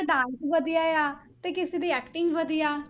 Dance ਵਧੀਆ ਆ, ਤੇ ਕਿਸੇ ਦੀ acting ਵਧੀਆ।